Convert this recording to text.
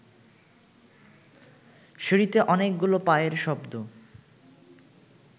সিঁড়িতে অনেকগুলো পায়ের শব্দ